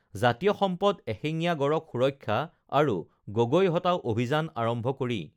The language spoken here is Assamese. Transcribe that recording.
জাতীয় সম্পদ এশিঙীয়া গঁড়ক সুৰক্ষা আৰু গগৈ হটাও অভিযান আৰম্ভ কৰি